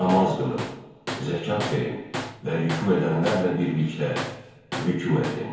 Namaz qılın, zəkat verin və ruku edənlərlə birlikdə ruku edin!